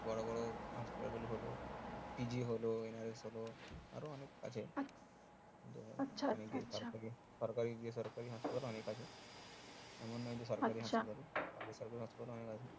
বড়ো বড়ো হাসপাতাল গুলো হলো PG হলো NRS হলো সরকারি যে সরকারীও অনেক আছে আছে